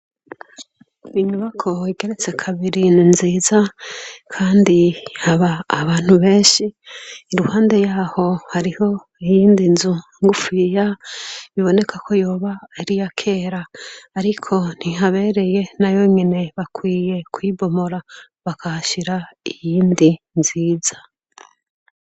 Inyubako igeretse kabiri ni nziza kandi haba abantu beshi. Iruhande yaho hariho iyind'inzu ngufiya bibonekako yoba ari iyakera ariko ntihabereye nayonyene nakwiye kuyinomora nakahashira iyindi nziza.